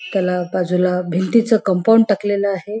एका बाजूला भिंतीच कंपाऊंड टाकलेलं आहे.